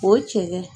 O ye cɛ ye